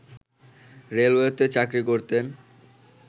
রেলওয়েতে চাকরি করতেন